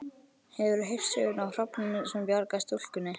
Hefurðu heyrt söguna af hrafninum sem bjargaði stúlkunni?